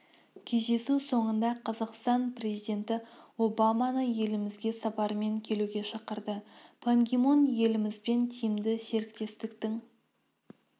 кездесу соңында қазақстан президенті президенті обаманы елімізге сапармен келуге шақырды пан ги мун елімізбен тиімді серіктестіктің